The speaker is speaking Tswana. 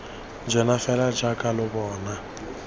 jonase fela jaaka lo bona